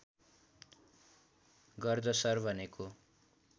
गर्द शर भनेको